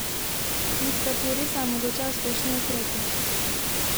Diktaturi se je mogoče uspešno upreti.